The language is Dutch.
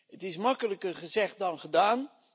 Het is makkelijker gezegd dan gedaan.